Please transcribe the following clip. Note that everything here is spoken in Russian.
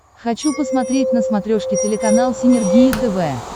хочу посмотреть на смотрешке телеканал синергия тв